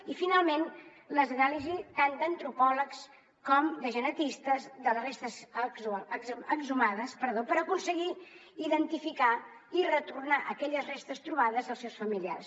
i finalment les anàlisis tant d’antropòlegs com de genetistes de les restes exhumades per aconseguir identificar i retornar aquelles restes trobades als seus familiars